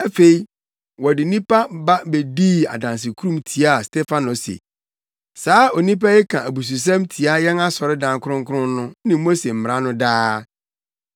Afei, wɔde nnipa ba bedii adansekurum tiaa Stefano se, “Saa onipa yi ka abususɛm tia yɛn asɔredan kronkron no ne Mose Mmara no daa.